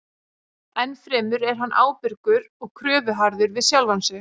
Ennfremur er hann ábyrgur og kröfuharður við sjálfan sig.